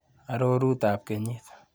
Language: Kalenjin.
Arorutab kenyit.